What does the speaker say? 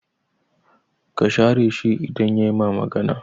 Ka share shi idan yayi ma magana